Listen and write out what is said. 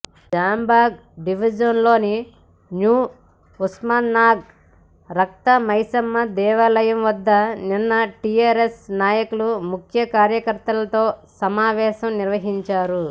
జాంబాగ్ డివిజన్లోని న్యూ ఉస్మాన్గంజ్ రక్తమైసమ్మ దేవాలయం వద్ద నిన్న టీఆర్ఎస్ నాయకుల ముఖ్య కార్యకర్తలతో సమావేశం నిర్వహించారు